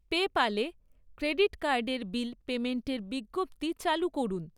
পেপ্যালে credit কার্ডের bill পেমেন্টের বিজ্ঞপ্তি চালু করুন।